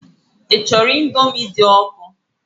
Ị chọrọ Indomi dị ọkụ?